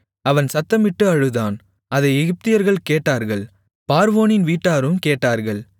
அவன் சத்தமிட்டு அழுதான் அதை எகிப்தியர்கள் கேட்டார்கள் பார்வோனின் வீட்டாரும் கேட்டார்கள்